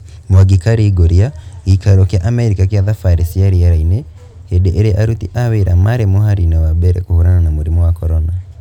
Mwangi karingũria gĩikaro kĩa Amerika kia thabarĩ cia rĩera-inĩ hĩndĩ ĩrĩa aruti a wira marĩ mũharĩ-inĩ wa mbere kũhũrana na mũrimũ wa corona